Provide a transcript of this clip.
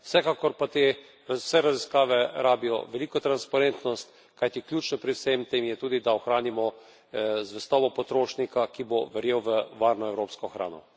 Vsekakor pa te vse raziskave rabijo veliko transparentnost, kajti ključno pri vsem tem je tudi, da ohranimo zvestobo potrošnika, ki bo verjel v varno evropsko hrano.